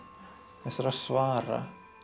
þessara svara